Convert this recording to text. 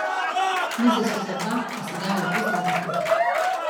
Mize so za dva, a se dajo lepo zlagati.